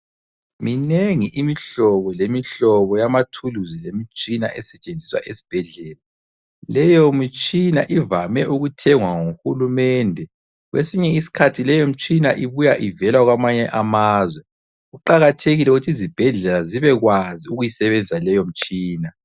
Minengi imihlobo lemihlobo yamathuluzi lemitshina esetshenziswa esibhedlela, leyo mitshina ivame ukuthengwa nguhulumende kwesinye iskhathi leyo mitshina ibuya ivela kwamanye amazwe, kuqakathekile ukuthi izibhedlela zibe kwazi ukuyisebenzisa leyo mitshina.